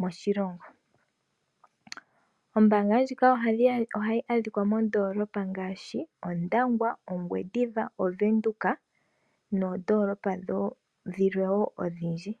moshilongo, ombaanga ndjika ohayi adhika moondoolopa ngaashi Ondangwa ,Ongwediva ,Ovenduka noondoolopa dhilwe wo odhindji.